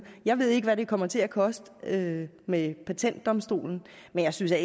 jeg ved ikke hvad det kommer til at koste med patentdomstolen men jeg synes da